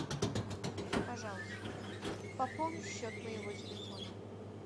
пожалуйста пополни счет моего телефона